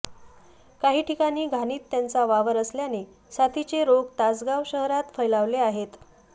काही ठिकाणी घाणीत त्यांचा वावर असल्याने साथीचे रोग तासगाव शहरात फ़ैलावले आहेत